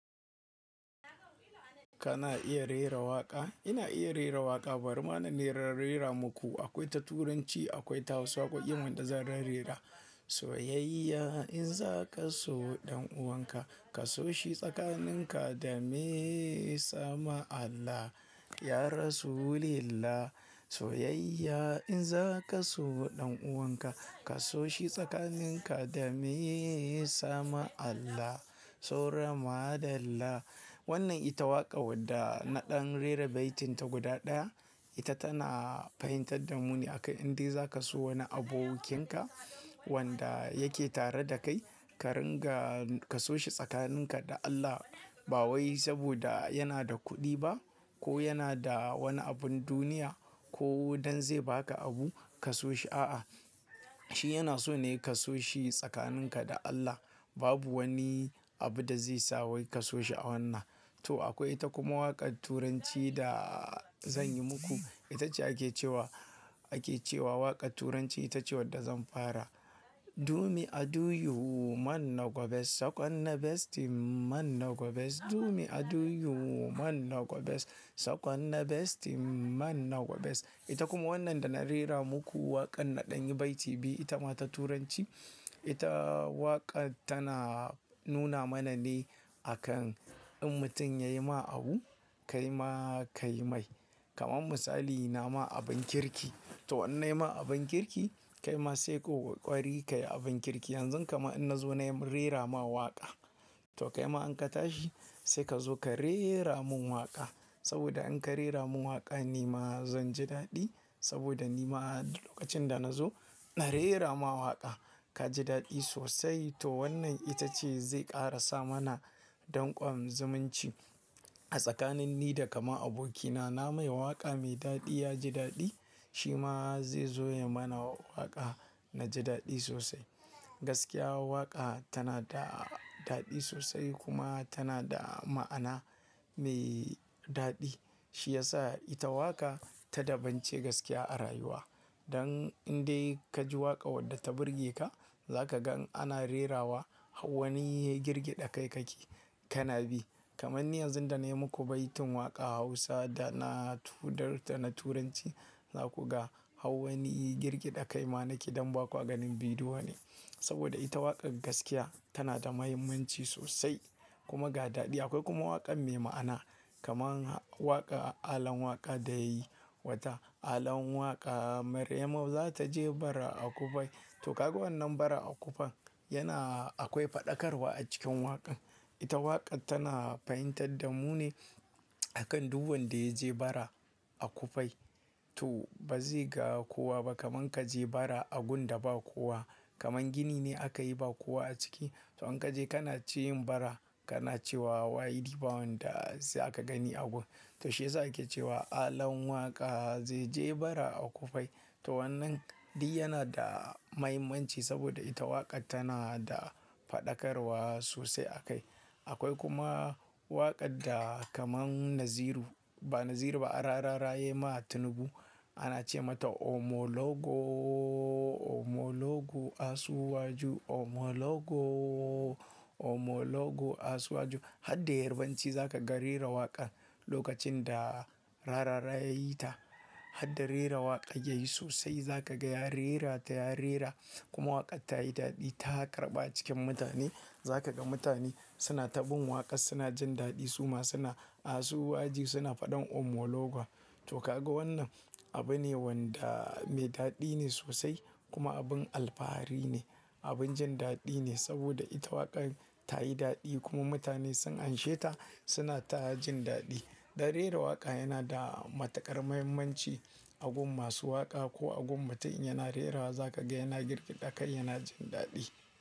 Kana iya rera waƙa? Ina iya rera waƙa. Bari na nera rera muku. Akwai ta Turanci, akwai ta Hausa akwai kuma wadda zan rerera. Soyayya in zaka so ɗan'uwanka, ka so shi tsakaninka da mee sama Allah, ya rasulillah. Soyayya in zaka so ɗan'uwanka, ka so shi tsakaninka da mee sama Allah, saura madalla. Wannan ita waƙa wadda naɗin rera baitin ta guda ɗaya. Ita tana fahimtar da mu ne akan inda zaka so wani abokinka wanda yake tare da kai, ka ringa ka so shi tsakaninka da Allah. Ba wai saboda yana da kuɗi ba, ko yana da wani abin duniya ko don zai baka abu ka so shi, a'a. Shi yana so ne ka so shi tsakaninka da Allah. Babu wani abu da zai sa wai ka so shi a wannan. To akwai ita kuma waƙar Turanci da zan yi muku. Ita ce ake cewa, ake cewa waƙar Turanci ita ce wadda zan fara. Do me i do you man no go best second na best thing, man no go best Do me i do you man no go best, second na best thing man no go best. It kuma wannan da na rera muku waƙar naɗin baiti biyu ita ma ta Turanci. Ita waƙar tana nuna mana ne a kan in mutum yayi ma abu, kai ma ka yi mai. Kaman misali na ma abin kirki. To in na yi ma abin kirki, kai ma sai ko ƙwari ka yi abin kirki. Yanzu kama in na zo na yi rera ma waƙa. To kai ma in ka tashi sai ka zo ka reera mun waƙa. Saboda in ka reea mun waƙa ni ma zan ji daɗi. Saboda ni ma lokacin da na zo na reera ma waƙa ka ji daɗi sosai. To wannan ita ce zai ƙara sa mana ɗanƙwamin zumunci a tsakanin ni da kamar abokina. Na mai waƙa mai daɗi ya ji daɗi, shi ma zai zo ya yi mana waƙa na ji daɗi sosai. Gaskiya waƙa tana da daɗi sosai kuma tana da ma'ana mai daɗi. Shi ya sa ita waƙa ta dabance gaskiya a rayuwa. Dan indai ka ji waƙa wadda ta burge ka, za ka gan ana rerawa hau wani girgida kai kake kana bi. Kaman ni yanzu da na yi muku baitin waƙa Hausa da na tudarta na Turanci, za ku ga hau wani girgida kai ma nake don ba kwa ganin bidiyo ne. Saboda ita waƙar gaskiya tana da muhimmanci sosai kuma ga daɗi. Akwai kuma waƙar mai ma'ana kaman waƙa Alan Waƙa da yayi wata. Alan Waƙa Maryamu za ta je bara a kufai. To ka ga wannan bara a kufan yana akwai faɗakarwa a cikin waƙan. Ita waƙar tana fahimtar da mu ne akan duk wanda ya je bara a kufai. To ba zai ga kowa ba kamar ka je bara a gun da ba kowa. Kaman gini ne aka yi ba kowa a ciki. To in ka je kana cikin bara kana cewa wai ɗiban wanda sai aka gani a gun. To shi ya sa ake cewa Alan Waƙa zai je bara a kufai. To wannan di yana da muhimmanci saboda ita waƙar tana da faɗakarwa sosai a kai. Akwai kuma waƙar da kaman Naziru, ba Naziru ba, a rara raye ma Tinubu ana ce mata Omologo, Omologo asuwaju. Omologo, Omologo asuwaju. Har da Yarbanci za ka ga rera waƙar lokacin da rara raya yi ta. Har da rera waƙar yayi sosai za ka ga ya rera ta ya rera kuma waƙar ta yi daɗi. Ta ƙarɓa cikin mutane. Za ka ga mutane suna taɓin waƙar suna jin daɗi suma suna asuwaju suna faɗin Omologo. To ka ga wannan abu ne wanda mai daɗi ne sosai kuma abin alfahari ne. Abin jin daɗi ne saboda ita waƙar ta yi daɗi kuma mutane sun anshe ta suna ta jin daɗi. Dan rera waƙa yana da matuƙar muhimmanci a gun masu waƙa ko a gun mutum yana rerawa za ka ga yana girgida kai yana jin daɗi.